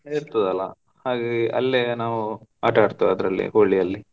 ಇರ್ತದಲ್ಲ, ಹಾಗಾಗಿ ಅಲ್ಲೇ ನಾವು ಆಟ ಆಡ್ತೆವೆ ಅದ್ರಲ್ಲಿ ಹೋಳಿಯಲ್ಲಿ.